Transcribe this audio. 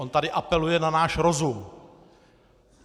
On tady apeluje na náš rozum!